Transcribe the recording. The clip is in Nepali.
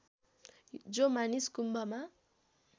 जो मानिस कुम्भमा